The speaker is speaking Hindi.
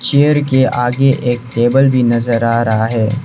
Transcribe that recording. चेयर के आगे एक टेबल भी नजर आ रहा है।